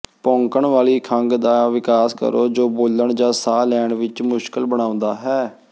ਭੌਂਕਣ ਵਾਲੀ ਖੰਘ ਦਾ ਵਿਕਾਸ ਕਰੋ ਜੋ ਬੋਲਣ ਜਾਂ ਸਾਹ ਲੈਣ ਵਿੱਚ ਮੁਸ਼ਕਲ ਬਣਾਉਂਦਾ ਹੈ